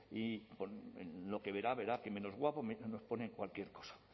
en lo que verá que menos guapo nos ponen cualquier cosa